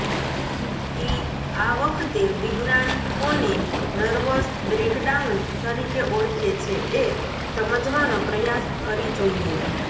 તેી આ વખતે વિજ્ઞાન કોને નર્વસ બ્રેકડાઉન તરીકે ઓળખે છે એ સમજવાનો પ્રયાસ કરી જોઈએ